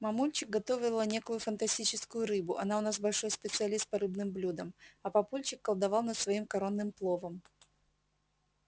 мамульчик готовила некую фантастическую рыбу она у нас большой специалист по рыбным блюдам а папульчик колдовал над своим коронным пловом